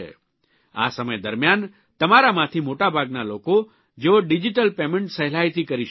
આ સમય દરમ્યાન તમારામાંથી મોટાભાગના લોકો જેઓ ડીજીટલ પેમેન્ટ સહેલાઇથી કરી શકે છે